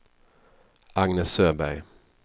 Agnes Öberg